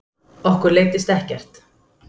Okkur leiddist ekkert